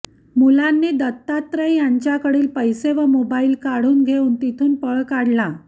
मुलांनी दत्तात्रय यांच्याकडील पैसे व मोबाईल काढून घेऊन तिथून पळ काढला